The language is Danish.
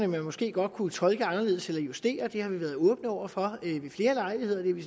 måske godt kunne tolke anderledes eller justere dem det har vi været åbne over for ved flere lejligheder og det er vi